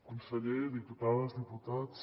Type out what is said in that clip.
conseller diputades diputats